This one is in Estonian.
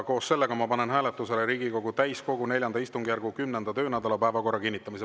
Koos sellega ma panen hääletusele Riigikogu täiskogu IV istungjärgu 10. töönädala päevakorra kinnitamise.